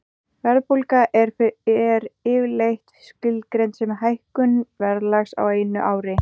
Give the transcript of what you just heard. Verðbólga er yfirleitt skilgreind sem hækkun verðlags á einu ári.